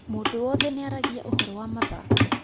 Mũndũ wothe nĩaragia ũhoro wa mathako